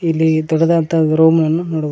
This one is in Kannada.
ಇಲ್ಲಿ ದೊಡ್ಡದಾದಂತಹ ರೂಮ್ ಗಳನ್ನು ನೋಡಬಹುದು.